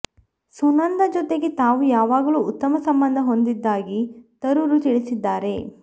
ಸುನಂದಾ ಜೊತೆಗೆ ತಾವು ಯಾವಾಗಲೂ ಉತ್ತಮ ಸಂಬಂಧ ಹೊಂದಿದ್ದಾಗಿ ತರೂರ್ ತಿಳಿಸಿದ್ದಾರೆ